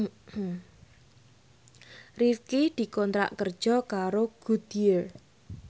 Rifqi dikontrak kerja karo Goodyear